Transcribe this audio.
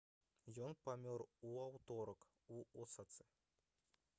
ён памёр у аўторак у осацы